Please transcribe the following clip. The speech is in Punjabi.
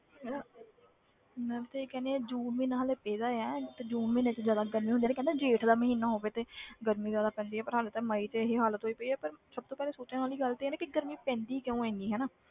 ਮੈਂ ਵੀ ਤੇ ਇਹੀ ਕਹਿਨੀ ਹਾਂ ਜੂਨ ਮਹੀਨਾ ਹਾਲੇ ਪਏ ਦਾ ਹੈ ਤੇ ਜੂਨ ਮਹੀਨੇ 'ਚ ਜ਼ਿਆਦਾ ਕਹਿੰਦੇ ਹੁੰਦੇ ਆ ਨਾ ਕਿ ਜੇਠ ਮਹੀਨਾ ਹੋਵੇ ਤੇ ਗਰਮੀ ਜ਼ਿਆਦਾ ਪੈਂਦੀ ਹੈ ਪਰ ਹਾਲੇ ਤੇ ਮਈ 'ਚ ਇਹੀ ਹਾਲਤ ਹੋਈ ਪਈ ਹੈ, ਪਰ ਸਭ ਤੋਂ ਪਹਿਲੇ ਸੋਚਣ ਵਾਲੀ ਗੱਲ ਤੇ ਇਹ ਆ ਨਾ ਕਿ ਗਰਮੀ ਪੈਂਦੀ ਕਿਉਂ ਹੈ ਇੰਨੀ ਹਨਾ,